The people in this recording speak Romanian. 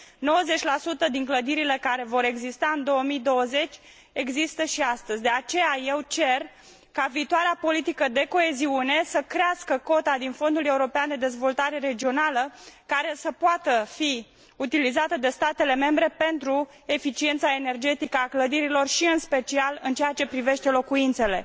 90 din clădirile care vor exista în 2020 există și astăzi, de aceea eu cer ca viitoarea politică de coeziune să crească cota din Fondul european de dezvoltare regională care să poată fi utilizată de statele membre pentru eficiența energetică a clădirilor și, în special, în ceea ce privește locuințele.